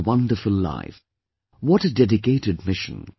What a wonderful life, what a dedicated mission